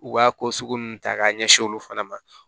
U b'a ko sugu ninnu ta k'a ɲɛsin olu fana ma